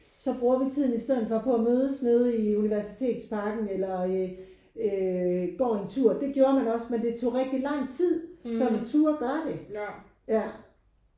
Så bruger vi tiden i stedet for på at mødes nede i universitetsparken eller øh øh går en tur. Det gjorde man også men det tog bare virkelig lang tid før man turde gøre det. Ja